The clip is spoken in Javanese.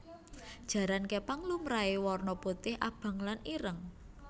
Jaran képang lumrahé warna putih abang lan ireng